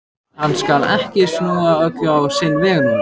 Hann skal ekki snúa öllu á sinn veg núna.